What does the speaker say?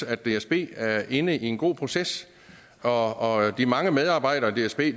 at dsb er inde i en god proces og de mange medarbejdere i dsb